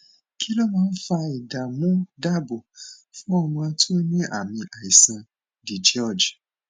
kí ló máa ń fa ìdààmúdaabo fun ọmọ tó ní ami àìsàn digeorge